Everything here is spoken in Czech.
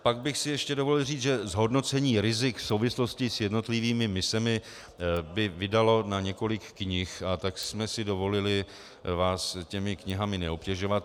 Pak bych si ještě dovolil říct, že zhodnocení rizik v souvislosti s jednotlivými misemi by vydalo na několik knih, a tak jsme si dovolili vás těmi knihami neobtěžovat.